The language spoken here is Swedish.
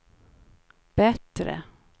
bättre